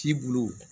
Ci bulu